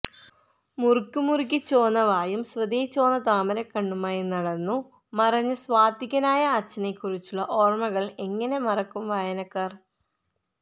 മുറുക്കി മുറുക്കി ചോന്ന വായും സ്വതേ ചോന്ന താമരക്കണ്ണുമായി നടന്നു മറഞ്ഞ സാത്വികനായ അച്ഛനെക്കുറിച്ചുള്ള ഓർമ്മകൾ എങ്ങനെ മറക്കും വായനക്കാർ